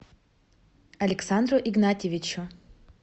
александру игнатьевичу